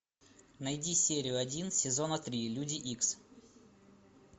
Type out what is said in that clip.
найди серию один сезона три люди икс